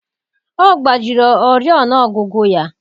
Ọ gbajiri oriọna ọgụgụ ya.